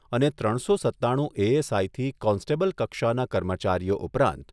અને ત્રણસો સત્તાણું એએસઆઈથી કોન્સ્ટેબલ કક્ષાના કર્મચારીઓ ઉપરાંત